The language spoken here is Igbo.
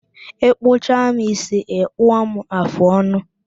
Ịkpụcha m ísí, ịkpụọ m afụ ọnụ